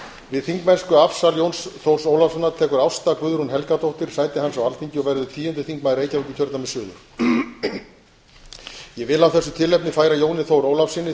við þingmennskuafsal jóns þórs ólafssonar tekur ásta guðrún helgadóttir sæti hans á alþingi og verður tíundi þingmaður reykjavíkurkjördæmis suður ég vil af þessu tilefni færa jóni þór ólafssyni